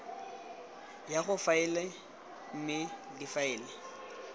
ya go faela mme difaele